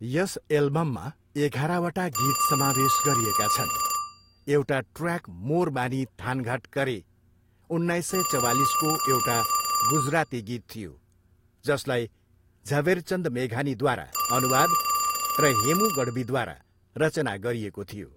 यस एल्बममा एघारवटा गीत समावेश गरिएका छन्, एउटा ट्रयाक मोर बानी थानघाट करे उन्नाइस सय चवालिसको एउटा गुजराती गीत थियो जसलाई झवेरचन्द मेघानीद्वारा अनुवाद र हेमु गढवीद्वारा रचना गरिएको थियो।